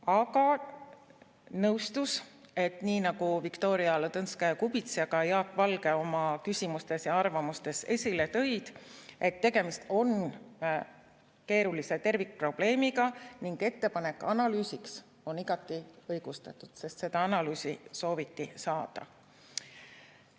Aga ta nõustus, et nii nagu Viktoria Ladõnskaja-Kubits ja ka Jaak Valge oma küsimustes ja arvamustes esile tõid, on tegemist keerulise tervikprobleemiga ning ettepanek analüüsiks on igati õigustatud, sest seda analüüsi sooviti saada.